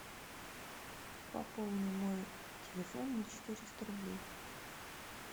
пополни мой телефон на четыреста рублей